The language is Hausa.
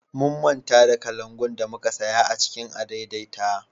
Mun manta kalangu da muka saya a cikin adaidaita